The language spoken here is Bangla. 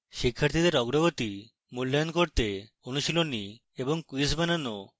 শিক্ষার্থীদের অগ্রগতি মূল্যায়ন করতে অনুশীলনী এবং quizzes বানানো এবং